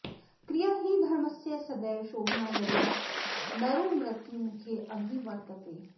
क्रिया हि धर्मस्य सदैव शोभना यदा नरो मृत्युमुखेऽभिवर्तते